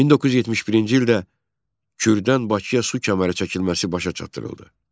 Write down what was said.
1971-ci ildə Kürdən Bakıya su kəməri çəkilməsi başa çatdırıldı.